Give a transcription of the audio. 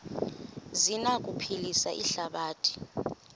zi anokuphilisa ihlabathi